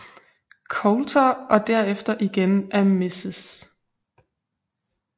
Coulter og derefter igen af Mrs